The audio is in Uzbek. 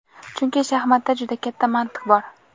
Chunki shaxmatda juda katta mantiq bor.